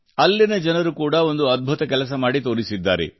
ಅಲ್ಲಿನ ಜನರು ಕೂಡಾ ಒಂದು ಅದ್ಭುತ ಕೆಲಸ ಮಾಡಿ ತೋರಿಸಿದ್ದಾರೆ